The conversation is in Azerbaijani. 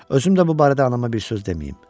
Özüm də bu barədə anama bir söz deməyim.